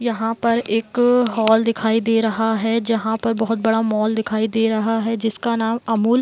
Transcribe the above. यहाँ पर एक हॉल दिखाई दे रहा है जहाँ पे बहुत बड़ा मॉल दिखाई दे रहा है | जिसका नाम अमूल --